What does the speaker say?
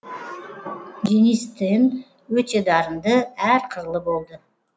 денис тен өте дарынды әр қырлы болды